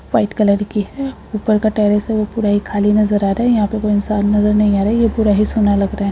White colour की है ऊपर का टेरेस है वह पूरा ही खाली नजर आ रहा है यहां पर कोई इंसान नजर नहीं आ रहा है| यह पूरा ही सुना लग रहा है।